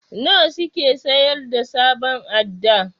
Nawa suke sayar da sabon adda?